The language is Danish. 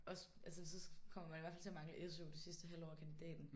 Også altså så kommer man i hvert fald til at mangle SU det sidste halve år af kandidaten